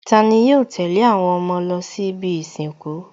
Tani yóò tẹ̀lé àwọn ọmọ lọ sí ibi ìsìnkú?